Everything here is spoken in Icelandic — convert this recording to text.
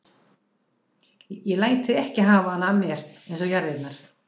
Ég læt þig ekki hafa hana af mér eins og jarðirnar.